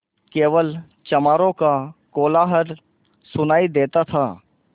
केवल चमारों का कोलाहल सुनायी देता था